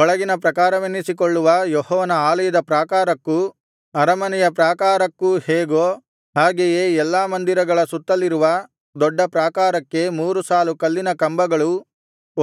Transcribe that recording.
ಒಳಗಿನ ಪ್ರಾಕಾರವೆನ್ನಿಸಿಕೊಳ್ಳುವ ಯೆಹೋವನ ಆಲಯದ ಪ್ರಾಕಾರಕ್ಕೂ ಅರಮನೆಯ ಪ್ರಾಕಾರಕ್ಕೂ ಹೇಗೋ ಹಾಗೆಯೇ ಎಲ್ಲಾ ಮಂದಿರಗಳ ಸುತ್ತಲಿರುವ ದೊಡ್ಡ ಪ್ರಾಕಾರಕ್ಕೆ ಮೂರು ಸಾಲು ಕಲ್ಲಿನ ಕಂಬಗಳೂ